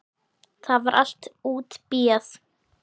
Það var allt útbíað.